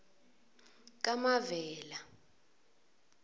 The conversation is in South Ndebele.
kamavela